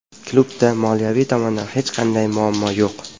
Klubda moliyaviy tomondan hech qanday muammo yo‘q.